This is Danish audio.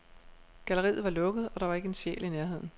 Galleriet var lukket, og der var ikke en sjæl i nærheden.